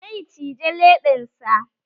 Zai cije leɓensa